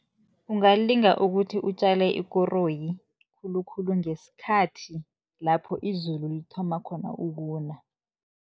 Ungalinga ukuthi utjale ikoroyi, khulukhulu ngesikhathi lapho izulu lithoma khona ukuna.